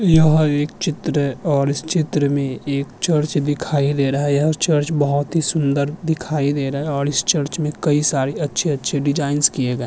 यह एक चित्र है और इस चित्र में एक चर्च दिखाई दे रहा है यह चर्च बहुत ही सुन्दर दिखाई दे रहा है और इस चर्च में कई सारी अच्छी-अच्छी डिजाइन किए गए --